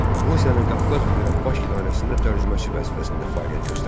Rusiyanın Qafqaz üzrə baş idarəsində tərcüməçi vəzifəsində fəaliyyət göstərir.